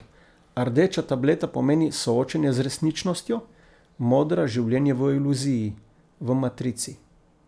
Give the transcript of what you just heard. Rdeča tableta pomeni soočenje z resničnostjo, modra življenje v iluziji, v matrici.